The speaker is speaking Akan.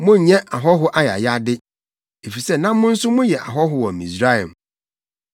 “Monnyɛ ɔhɔho ayayade, efisɛ na mo nso moyɛ ahɔho wɔ Misraim.